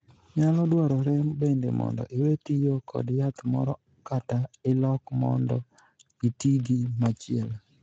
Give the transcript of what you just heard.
Nyalo dwarore bende mondo iwee tiyo kod yath moro kata ilok mondo itii gi machielo.